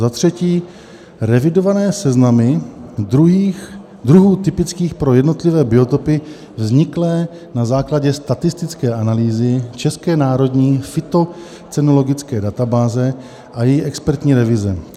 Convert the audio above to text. Za třetí, revidované seznamy druhů typických pro jednotlivé biotopy vzniklé na základě statistické analýzy České národní fytocenologické databáze a její expertní revize.